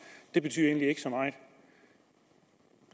det betyder egentlig ikke så meget